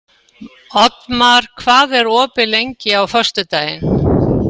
Oddmar, hvað er opið lengi á föstudaginn?